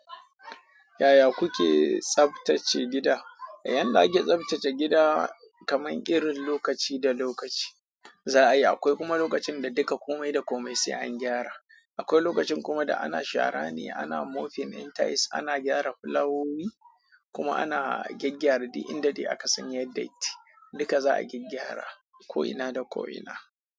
Yaya kuke tsaftace gida. Yanda ake tsaftace gida kamar irin lokaci da lokaci, za'a yi. Akwai kuma lokacin da duka komai da komai sai an gyara. Akwai lokacin kuma da ana shara ne, ana moping din tiles, ana gyara fulawowi kuma ana gyaggyara duk in da dai aka san yayi datti. Duka za'a gyaggyara ko'ina da ko'ina.